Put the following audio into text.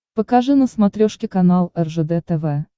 покажи на смотрешке канал ржд тв